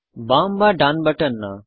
বাম বা ডান বাটন না